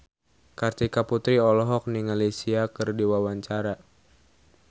Kartika Putri olohok ningali Sia keur diwawancara